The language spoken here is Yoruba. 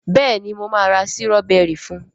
béèni mo ma ra Sírọ́bẹ́rì fún.